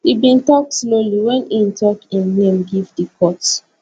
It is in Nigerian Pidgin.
e bin tok slowly wen e tok im name give di court